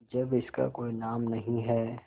जब इसका कोई नाम नहीं है